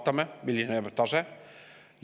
Vaatame, milline on tase.